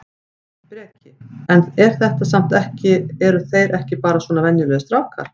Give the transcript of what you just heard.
Breki: En er þetta samt ekki eru þeir ekki bara svona venjulegir strákar?